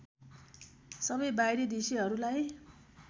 सबै बाहिरी दृश्यहरूलाई